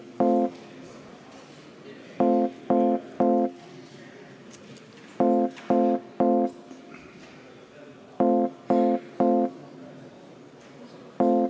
Tänan!